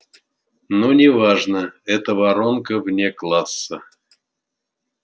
но не важно это воронка вне класса